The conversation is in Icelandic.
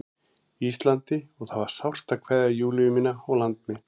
Íslandi og það var sárt að kveðja Júlíu mína og land mitt.